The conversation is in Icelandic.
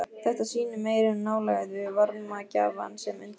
Þetta sýnir meiri nálægð við varmagjafann sem undir er.